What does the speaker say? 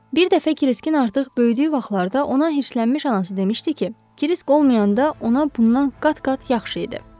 Bir dəfə Kriskin artıq böyüdüyü vaxtlarda ona hirslənmiş anası demişdi ki, Krisk olmayanda ona bundan qat-qat yaxşı idi.